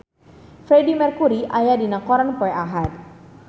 Freedie Mercury aya dina koran poe Ahad